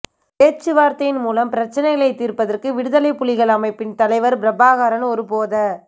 பேச்சுவார்த்தையின் மூலம் பிரச்சினைகளை தீர்ப்பதற்கு விடுதலை புலிகள் அமைப்பின் தலைவர் பிரபாகரன் ஒருபோத